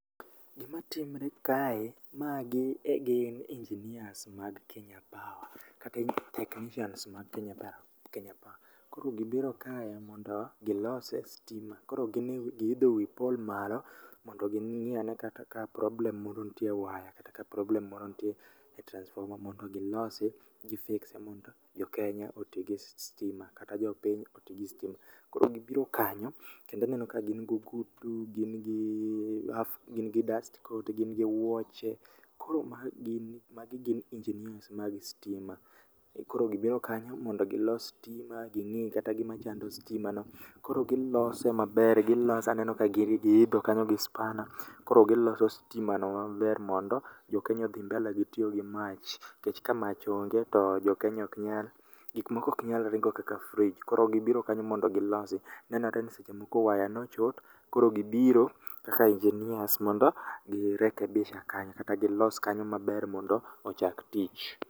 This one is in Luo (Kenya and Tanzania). Gima timre kae magi egin engineers mag Kenya Power kata technicians mag Kenya Power, Kenya Power. Koro gibiro kae mondo gilose stima koro gine giidho wi pole malo mondo ging'i ane kata ka problem moro nitie e waya. Kata ka problem moro nitie e transformer mondo gilose gi fix e mondo jo Kenya oti gi stima. Kata jopiny oti gi stima, koro gibiro kanyo kendo aneno ka gin gogudu, gin gi dust coat, gin gi wuoche. Koro ma gini magi gin engineers mag stima, koro gibiro kanyo mondo gilos stima ging'i kata gima chando stima no. Koro gilose maber gilose aneno ka giidho kanyo gi spana. Koro giloso stima no maber mondo jo Kenya odhi mbele gi tiyo gi mach, nikech ka mach onge to gik moko ok nyal ringo kaka fridge. Koro gibiro kanyo mondo gilosi, nenore ni seche moko waya nochot. Koro gibiro kaka engineers mondo gi rekebisha kanyo kata gilos kanyo maber mondo ochak tich.